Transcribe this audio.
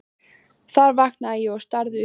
Þar vaknaði ég og starði upp í loftið.